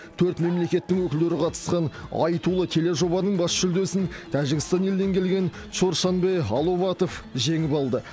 төрт мемлекеттің өкілдері қатысқан айтулы тележобаның бас жүлдесін тәжікстан елінен келген чоршанбе аловатов жеңіп алды